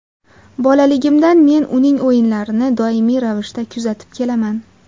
Bolaligimdan men uning o‘yinlarini doimiy ravishda kuzatib kelaman.